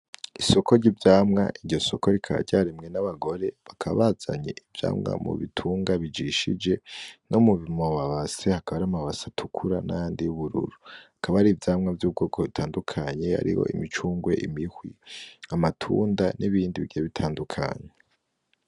Isoko ry'ivyamwa iryo soko rikaba ryaremwe n'abagore bakaba bazanye ivyamwa my bitunga bijishije no mu mabase hakaba hari amabase atukura nayandi y'ubururu, hakaba hari ivyamwa vy'ubwoko butandukanye hariho imicungwe, imihwi, amatunda n’ibindi bigiye bitandukanye.